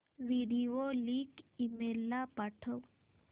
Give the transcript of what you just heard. video link email ला पाठव